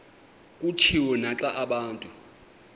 kutshiwo naxa abantu